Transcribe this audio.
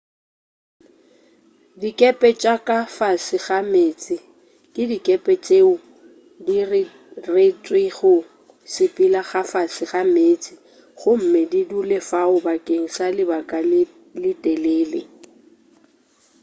dikepe tša ka fase ga meetse ke dikepe tšeo di diretšwego go sepela ka fase ga meeste gomme di dule fao bakeng sa lebaka le letelele